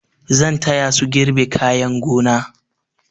Zan taya su girbe kayan gona.